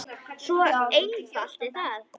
Svo einfalt er það!